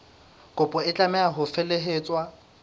kopo e tlameha ho felehetswa